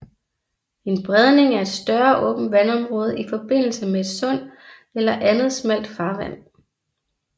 En bredning er et større åbent vandområde i forbindelse med et sund eller andet smalt farvand